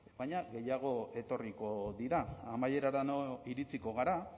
baina gehiago etorriko dira amaierara iritsiko gara